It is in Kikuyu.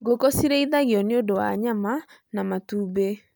Ngũkũ cirĩithagio nĩ ũndũ wa nyama na matumbĩ.